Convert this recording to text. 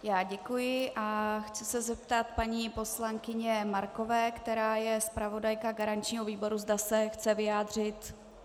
Já děkuji a chci se zeptat paní poslankyně Markové, která je zpravodajka garančního výboru, zda se chce vyjádřit.